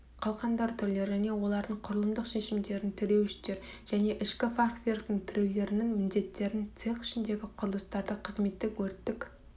қалқандар түрлері және олардың құрылымдық шешімдерін тіреуіштер және ішкі фахверктің тіреулерінің міндеттерін цех ішіндегі құрылыстарды қызметтік өрттік